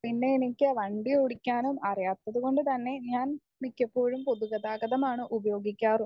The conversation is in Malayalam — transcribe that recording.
സ്പീക്കർ 1 പിന്നെ എനിക്ക് വണ്ടി ഓടിക്കാനും അറിയാത്തതുകൊണ്ട് തന്നെ ഞാൻ മിക്കപ്പോഴും പൊതുഗതാഗതമാണ് ഉപയോഗിക്കാറും.